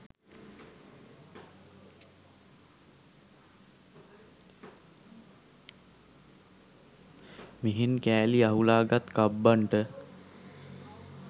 මෙහෙන් කෑලි අහුලා ගත් කබ්බන්ට